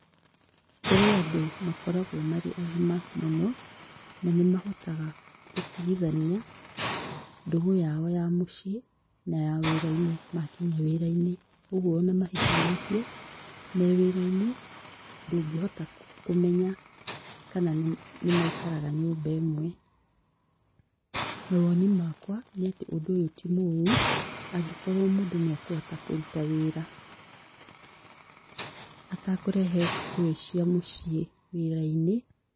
Kũrĩ andũ makoragwo marĩ agima mũno na nĩ mahotaga gũtigithania ndũgũ yao ya mũciĩ na ya wĩrainĩ makinya wĩrainĩ ũguo ona mahikanĩtie me wĩrainĩ ndũngĩhota kũmena kana nĩ maikaraga nyũmba ĩmwe. Mawoni makwa ũndũ ũyũ ti mũru angĩkorwo mũndũ nĩakũhoota kũrũta wĩra atakũrehe ngũĩ cĩa mũciĩ wĩrainĩ.